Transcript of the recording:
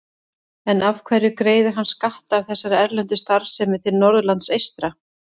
En af hverju greiðir hann skatta af þessari erlendu starfsemi til Norðurlands eystra?